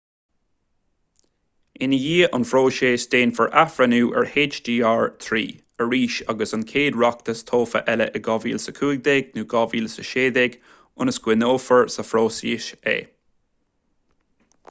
i ndiaidh an phróisis déanfar athbhreithniú ar hjr-3 arís ag an chéad reachtas tofa eile in 2015 nó 2016 ionas go gcoinneofar sa phróiseas é